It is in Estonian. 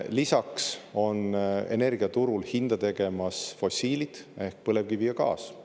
Lisaks teevad energiaturul hinda fossiilid ehk põlevkivi ja gaas.